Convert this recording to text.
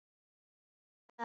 Og ég greip það.